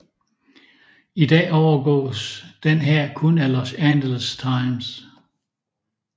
I dag overgås den her kun af Los Angeles Times